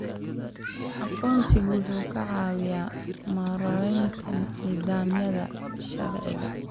Aqoonsigu wuxuu ka caawiyaa maaraynta nidaamyada sharciga.